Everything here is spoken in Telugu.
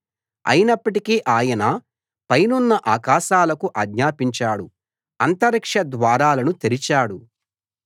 అయినప్పటికీ ఆయన పైనున్న ఆకాశాలకు ఆజ్ఞాపించాడు అంతరిక్ష ద్వారాలను తెరిచాడు